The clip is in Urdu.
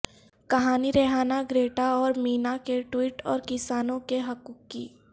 کہانی ریحانہ گریٹا اور مینا کے ٹوئٹ اور کسانوں کے حقوق کی